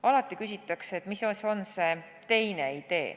Alati küsitakse, mis siis on see teine idee.